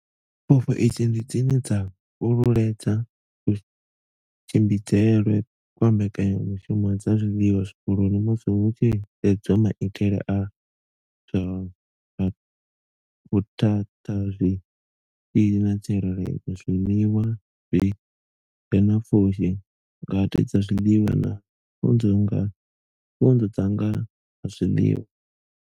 Pfufho idzi ndi dzine dza fhululedza kutshimbidzelwe kwa mbekanya mushumo dza zwiḽiwa zwikoloni musi hu tshi sedzwa maitele a zwa vhuthatha zwitzhili na tsireledzo, zwiḽiwa zwi re na pfushi, ngade dza zwiḽiwa na pfunzo dza nga ha zwiḽiwa.